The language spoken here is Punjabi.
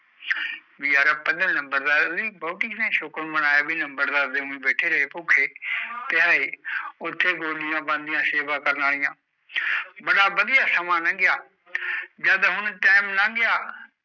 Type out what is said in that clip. ਵੀ ਰੇ ਬਹੁਤ ਲੰਬੜ ਬੋਟੀ ਨੇ ਬੜਾ ਸ਼ੁਕਰ ਮਨਾਈ ਲੰਬੜ ਦੇ ਬੈਠੇ ਰਹੇ ਪੱਖੇ ਥਾਇ ਉਥੇ ਬੋਲਿਆ ਪੋਂਦਿਆਂ ਸੇਵਾ ਕਰ ਆਲੀਆ ਬੜਾ ਵੜਿਆ ਸਮਾਂ ਲਗਿਆ ਜਦ ਹੁਣ ਟੀਮ ਲਲੰਗ ਗਯਾ